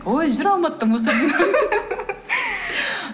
ой жүр алматыда мусор жинап